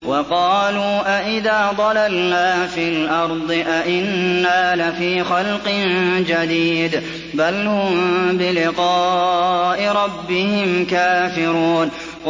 وَقَالُوا أَإِذَا ضَلَلْنَا فِي الْأَرْضِ أَإِنَّا لَفِي خَلْقٍ جَدِيدٍ ۚ بَلْ هُم بِلِقَاءِ رَبِّهِمْ كَافِرُونَ